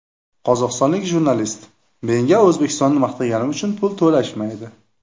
Qozog‘istonlik jurnalist: Menga O‘zbekistonni maqtaganim uchun pul to‘lashmaydi.